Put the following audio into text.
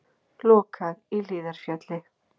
Lokað í Hlíðarfjalli